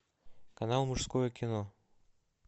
канал мужское кино